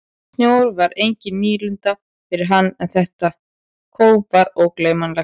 Snjór var engin nýlunda fyrir hann en þetta þétta kóf var ógleymanlegt.